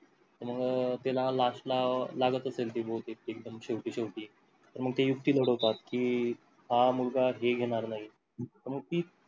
मग त्याला last ला लागत असेल कि बहुतेक कि एक्दम शेवटी शेवटी तर मग ते युक्ती घडवतात कि हा मुलगा हे घेणार नाही मग ती